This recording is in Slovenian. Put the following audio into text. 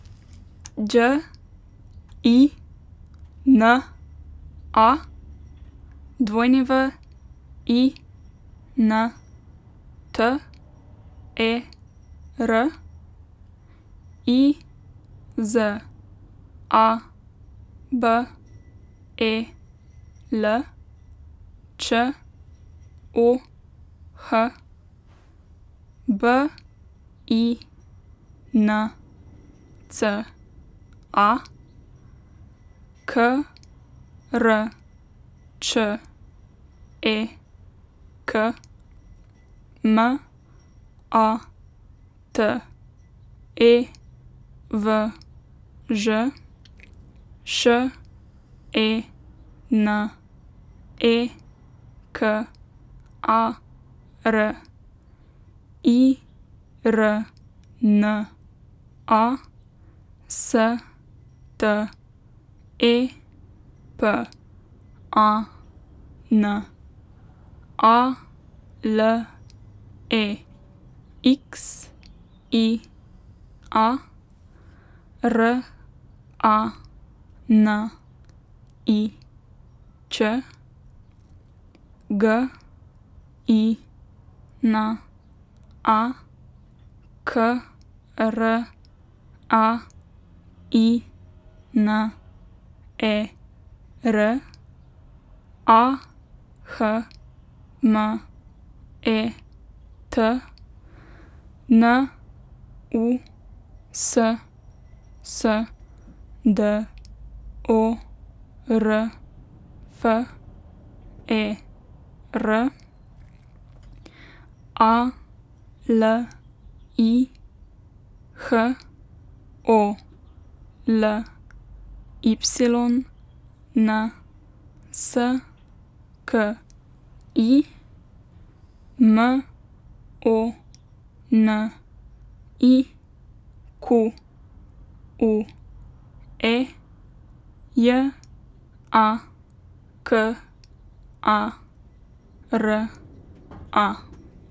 Đ I N A, W I N T E R; I Z A B E L, Č O H; B I N C A, K R Č E K; M A T E V Ž, Š E N E K A R; I R N A, S T E P A N; A L E X I A, R A N I Ć; G I N A, K R A I N E R; A H M E T, N U S S D O R F E R; A L I, H O L Y N S K I; N O N I Q U E, J A K A R A.